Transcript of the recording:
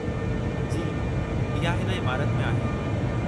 जी, इहा इन इमारति में आहे।